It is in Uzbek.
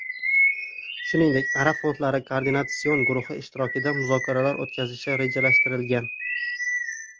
Shuningdek, arab fondlari koordinatsion guruhi ishtirokida muzokaralar o‘tkazilishi rejalashtirilgan.